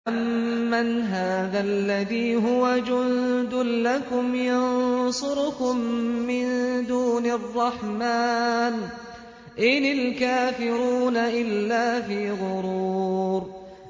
أَمَّنْ هَٰذَا الَّذِي هُوَ جُندٌ لَّكُمْ يَنصُرُكُم مِّن دُونِ الرَّحْمَٰنِ ۚ إِنِ الْكَافِرُونَ إِلَّا فِي غُرُورٍ